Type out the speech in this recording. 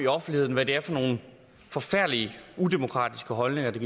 offentligheden hvad det er for nogle forfærdelig udemokratiske holdninger der